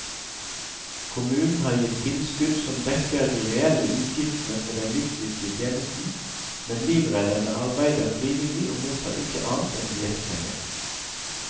Kommunen har gitt tilskudd som dekker de reelle utgiftene for den livsviktige tjenesten, men livredderne arbeider frivillig og mottar ikke annet enn diettpenger.